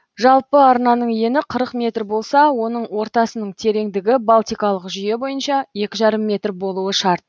жалпы арнаның ені қырық метр болса оның ортасының тереңдігі балтикалық жүйе бойынша екі жарым метр болуы шарт